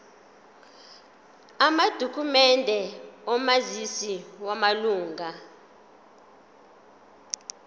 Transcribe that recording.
amadokhumende omazisi wamalunga